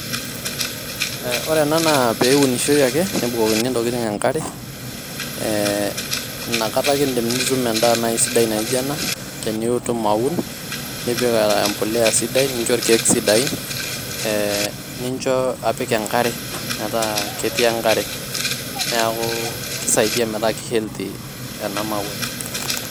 ore ena naa peunishoi ake nebukokini ntokitin enkare ee inakata ake indim nitum endaa nai sidai naijo ena tinitum aun nipik embulia sidai nincho irkieek sidain ee nincho apik enkare metaa ketii enkare .niaku kisaidia metaa ki healthy ena mauai.